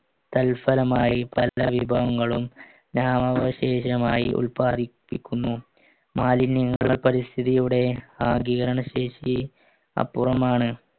തൽഫലമായി പല വിഭവങ്ങളു ഉത്പാദിപ്പിക്കുന്നു മാലിന്യങ്ങളെ പരിസ്ഥിതിയുടെ ആഗീകരണശേഷി അപ്പുറമാണ്